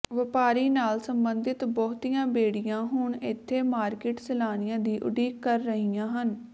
ਵਪਾਰੀ ਨਾਲ ਸੰਬੰਧਿਤ ਬਹੁਤੀਆਂ ਬੇੜੀਆਂ ਹੁਣ ਇੱਥੇ ਮਾਰਕੀਟ ਸੈਲਾਨੀਆਂ ਦੀ ਉਡੀਕ ਕਰ ਰਹੀਆਂ ਹਨ